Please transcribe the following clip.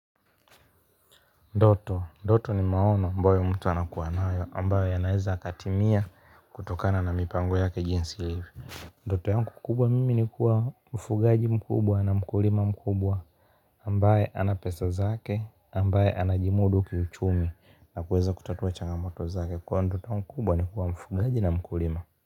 Ndoto, ndoto ni maono ambayo mtu anakuwanawe ambayo ya naeza katimia kutokana na mipango yake jinsi ilivyo ndoto yangu kubwa mimi ni kuwa mfugaji mkubwa na mkulima mkubwa ambaye ana pesa zake ambaye ana jimudu kiuchumi na kuweza kutatua changamoto zake kwa ndoto mkubwa ni kuwa mfugaji na mkulima.